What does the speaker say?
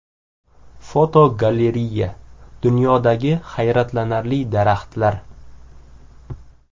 Fotogalereya: Dunyodagi hayratlanarli daraxtlar.